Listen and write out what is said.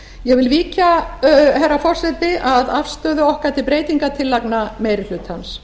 ég vil víkja herra forseti að afstöðu okkar til breytingartillagna meiri hlutans